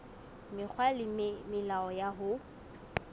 mekgwa le melao ya ho